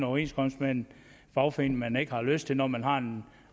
overenskomst med en fagforening man ikke har lyst til når man har en